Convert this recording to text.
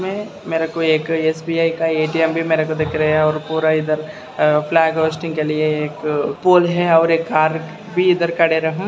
में मेरे को एक एस_बी_आई का ए_टी_एम भी मेरे को दिख रहा है और पूरा इधर फ्लाग होस्टिंग के लिए एक पोल है और एक कार भी इधर कड़े रहा --